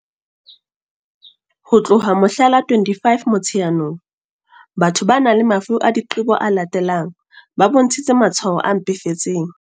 Ho tloha mohla la 25 Mo-tsheanong, batho ba nang le mafu a diqebo a latelang ba bontshitse matshwao a mpefetseng.